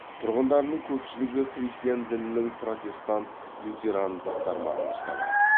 тұрғындарының көпшілігі христиан дінінің протестант лютерандық тармағын ұстанады